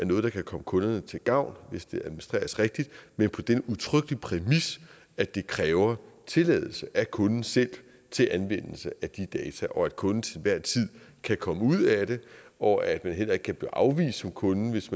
noget der kan komme kunderne til gavn hvis det administreres rigtigt men på den udtrykkelige præmis at det kræver tilladelse af kunden selv til anvendelse af de data og at kunden til hver en tid kan komme ud af det og at man heller ikke kan blive afvist som kunde hvis